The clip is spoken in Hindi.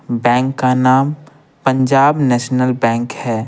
बैंक का नाम पंजाब नेशनल बैंक है।